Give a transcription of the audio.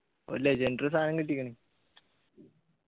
ഒരു legendary സാനം കിട്ടിക്ണ്